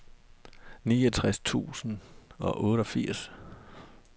niogtres tusind og otteogfirs